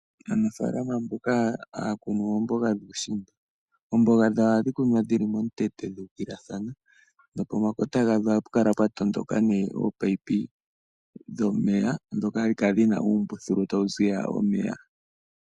Aanafaalama mboka haya kunu oomboga dhuushimba oomboga dhawo ohashi kunwa dhili momukweyo dhu ukililathana nopomakota gadho hapu kala pwa enda omino dhomeya ndhoka hadhi kala dhina uumbululu tawu ziya omeya.